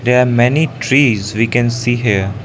they are many trees we can see here.